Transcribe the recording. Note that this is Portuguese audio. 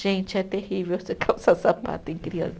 Gente, é terrível você calçar sapato em criança.